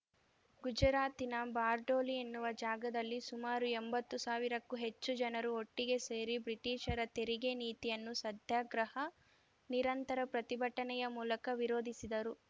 ಗುಜರಾತಿನ ಬಾರ್ಡೋಲಿ ಎನ್ನುವ ಜಾಗದಲ್ಲಿ ಸುಮಾರು ಎಂಬತ್ತು ಸಾವಿರಕ್ಕೂ ಹೆಚ್ಚು ಜನರು ಒಟ್ಟಿಗೆ ಸೇರಿ ಬ್ರಿಟಿಷರ ತೆರಿಗೆ ನೀತಿಯನ್ನು ಸತ್ಯಾಗ್ರಹ ನಿರಂತರ ಪ್ರತಿಭಟನೆಯ ಮೂಲಕ ವಿರೋಧಿಸಿದರು